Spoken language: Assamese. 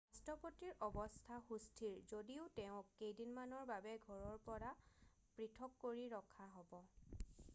ৰাষ্ট্ৰপতিৰ অৱস্থা সুস্থিৰ যদিও তেওঁক কেইদিনমানৰ বাবে ঘৰৰ পৰা পৃথক কৰি ৰখা হব